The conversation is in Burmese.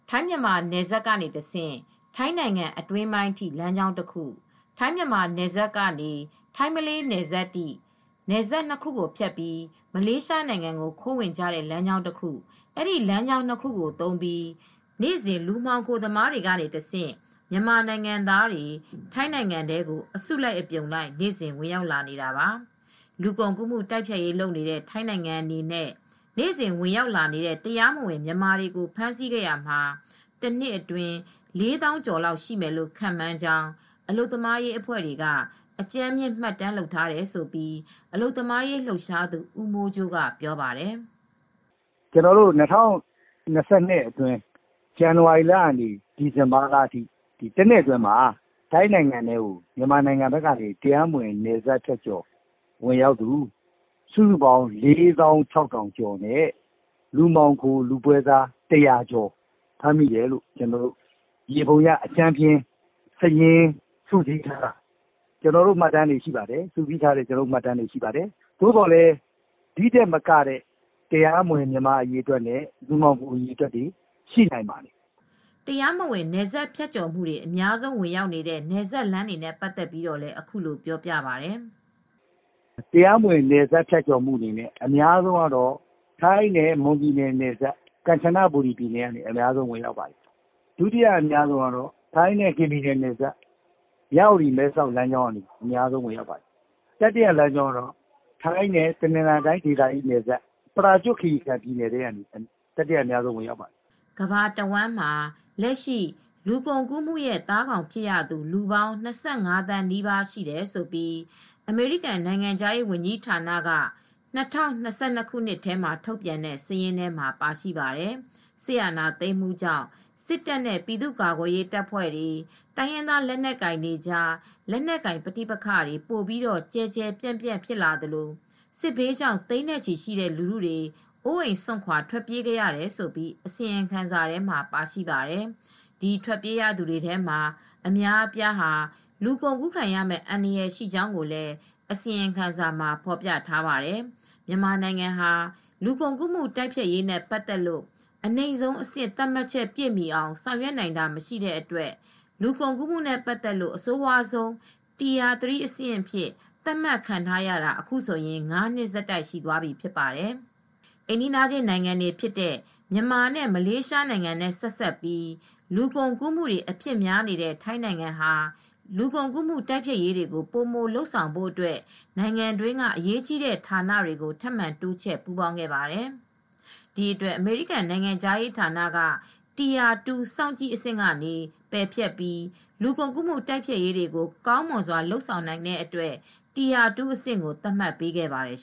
ထိုင်းမြန်မာနယ်စပ်ကနေ တဆင့် ထိုင်းနိုင်ငံအတွင်းပိုင်းအထိ လမ်းကြောင်းတခု ၊ ထိုင်း မြန်မာနယ်စပ်ကနေ ထိုင်းမလေးနယ်စပ်ထိ နယ်စပ် ၂ခုကို ဖြတ်ပြီး မလေးရှားနိုင်ငံကို ခိုးဝင်ကြတဲ့လမ်းကြောင်းကတခု အဲဒီ လမ်းကြောင်း၂ခုကိုသုံးပြီး နေ့စဉ် လူမှောင်ခိုသမားတွေကတဆင့် မြန်မာနိုင်ငံသားတွေ ထိုင်းနိုင်ငံထဲကို အစုလိုက် အပြုံလိုက် နေ့စဉ်ဝင်ရောက်လာနေတာပါ။ လူကုန်ကူး တိုက်ဖျက်ရေးကို လုပ်နေကြတဲ့ ထိုင်းနိုင်ငံအနေနဲ့ နေ့စဉ်ဝင်ရောက်လာနေကြတဲ့ တရားမဝင် မြန်မာတွေကို ဖမ်းဆီးခဲ့ရာမှာ တနှစ်အတွင်း ၄သောင်းကျော်လောက်ရှိမယ်လို့ ခန့်မှန်းနေကြကြောင်း အလုပ်သမားရေးအဖွဲ့ တွေက အကြမ်းဖျဉ်း မှတ်တမ်းလုပ်ထားတယ်လို့ အလုပ်သမားရေး လှုပ်ရှားသူ ဦးမိုးကြိုး က ပြောပါတယ်။ " ကျနော်တို့ ၂၀၂၂ခုနှစ်အတွင်း ဇန်နဝါရီလကနေ ဒီဇင်ဘာလထိ တနှစ်အတွင်းမှာ ထိုင်းနိုင်ငံထဲကို မြန်မာနိုင်ငံထဲကနေ တရားမဝင် နယ်စပ်ဖြတ်ကျော်ဝင်ရောက်သူ မြန်မာနိုင်ငံသား ၄သောင်း ၆ထောင်ကျော်နဲ့ လူမှောင်ခို လူပွဲစား၁၀၀ကျော် ဖမ်းမိတယ်လို့ အကြမ်းဖျဉ်း စုစည်းထားတဲ့ မှတ်တမ်းတွေရှိပါတယ်။သို့သော်လည်းပဲ ဒီထက်မက တရားမဝင် မြန်မာအရေအတွက်တွေနဲ့ လူမှောင်ခို ပွဲစားတွေလည်း ရှိနိုင်ပါတယ်" တရားမဝင် နယ်စပ်ဖြတ်ကျော်မူတွေ အများဆုံး ဝင်ရောက်နေတဲ့ နယ်စပ်လမ်းတွေနဲ့ ပတ်သက်ပြီးတော့လည်း အခုလိုပြောပြပါတယ်။ " တရားမဝင် နယ်စပ်ဖြတ်ကျော်မူတွေကတော့ ထိုင်းနဲ့ မွန်ပြည်နယ် နယ်စပ် ကမ်ချနဘူရီပြည်နယ် ကနေ အများဆုံး ဝင်ရောက်ပါတယ်။ ဒုတိယ အများဆုံးကတော့ ထိုင်းနဲ့ ကရင်ပြည်နယ် နယ်စပ် မြဝတီ မဲဆောက် နယ်စပ်ကနေ အများဆုံးဝင်ရောက်ပါတယ်။ တတိယ အများဆုံးကတော့ ထိုင်းနဲ့ တနင်္သာရီနယ်စပ် ပရာကျွတ်ခီရီကန် ဘက်ကနေ အများဆုံး ဝင်ရောက်တာဖြစ်ပါတယ်" ကမ ္ဘာတဝှမ်းမှာ လက်ရှိ လူကုန်ကူးမှုရဲ့ သားကောင်းဖြစ်ရသူ လူပေါင်း ၂၅ သန်း နီးပါး ရှိတယ်လို့ အမေရိကန် နိုင်ငံခြားရေးဝန်ကြီး ဌာနက ၂၀၂၂ခုနှစ်ထဲမှာ ထုတ်ပြန်တဲ့ စာရင်းထဲမှ ာပါရှိပါတယ်။ စစ်အာဏာသိမ်းမှုကြောင့် စစ်တပ်နဲ့ ပြည်သူ့ကာကွယ်ရေးတပ်ဖွဲ့တွေ၊ တိုင်ရင်းသား လက်နက်ကို်င်တွေကြား လက်နက်ကိုင် ပဋိပက္ခတွေ ပိုပြီးကျယ်ကျယ်ပြန့်ပြန့် ဖြစ်လာသလို စစ်ဘေးကြောင့် သိန်းနဲ့ချီရှိတဲ့ လူထုတွေ အိုးအိမ်စွန့်ခွါ ထွက်ပြေးခဲ့ရတယ်လို့ အစီရင်ခံစာမှ ာပါရှိပါတယ်။ ဒီထွက်ပြေးရသူတွေထဲက အများအပြားဟာ လူကုန်ကူးခံရမဲ့ အန္တရာယ်ရှိကြောင်းလည်း အစီရင်ခံစာမှာ ဖော်ပြထားပါတယ်။ မြန်မာနိုင်ငံဟာ လူကုန်ကူးမူ တိုက်ဖျက်ရေးနဲ့ ပတ်သက်လို့ အနိမ့်ဆုံးအဆင့် သတ်မှတ်ချက် ပြည့်မှီအောင် ဆောင်ရွက်နိုင်တာမရှိတဲ့အတွက် လူကုန်ကူးမူနဲ့ ပတ်သက်လို့ အဆိုးဝါးဆုံးဆင့် Tier 3 အဖြစ်သတ်မှတ်ခံထားရတာ အခုဆိုရင် ၅နှစ်ဆက်တိုက်ရှိသွားပြီဖြစ်ပါတယ်။ အိမ်နီးနားချင်း နိုင်ငံတွေဖြစ်ကြတဲ့ မြန်မာနဲ့ မလေးရှားနိုင်ငံနဲ့ ဆက်စပ်ပြီး လူကုန်ကူးမူတွေ အဖြစ်များနေတဲ့ ထိုင်းနိုင်ငံဟာ လူကုန်ကူးမူ တိုက်ဖျက်ရေးတွေကို ပိုမိုလုပ်ဆောင်ဖို့အတွက် နိုင်ငံတွင်းက အရေးကြီးတဲ့ ဌာနဆိုင်ရာတွေကို ထပ်မံတိုးချဲ့ပူးပေါင်းခဲ့ပါတယ်။ ဒီအတွက် အမေရိကန် နိုင်ငံခြားရေးဌာနက tire 2 စောင့်ကြည့်အဆင့်ကနေ ပယ်ဖျက်ပြီး လူကုန်ကူးမူ တိုက်ဖျက်ရေးကို ကောင်မွန်စွာလုပ်နိုင်ခဲ့တဲ့အတွက် Tire 2 အဆင့်ကို သတ်မှတ်ပေးခဲ့ပါတယ်